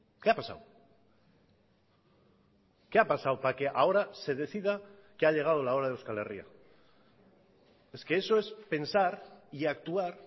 qué ha pasado qué ha pasado para que ahora se decida que ha llegado la hora de euskal herria es que eso es pensar y actuar